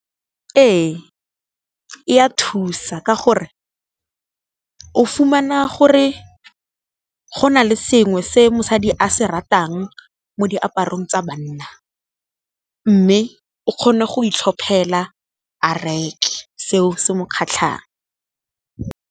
Ee e a thusa ka gore, o fumana gore go na le sengwe se mosadi a se ratang mo diaparong tsa banna, mme o kgone go itlhophela a reke seo se mo kgatlhang.